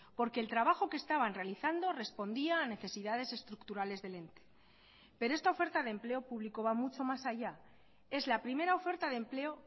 porque el trabajo que estaban realizando respondía a necesidades estructurales del ente pero esta oferta de empleo público va mucho más allá es la primera oferta de empleo